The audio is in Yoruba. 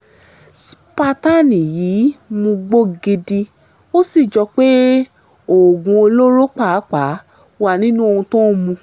spartan yìí ń mugbó gidi ó sì jọ pé oògùn olóró pàápàá wà nínú ohun tó ń mu